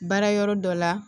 Baara yɔrɔ dɔ la